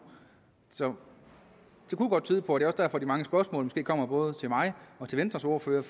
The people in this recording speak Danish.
så det kunne godt tyde på det også derfor de mange spørgsmål kommer både til mig og til venstres ordfører